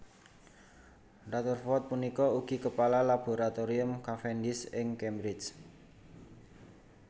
Rutherford punika ugi kepala Laboratorium Cavendish ing Cambridge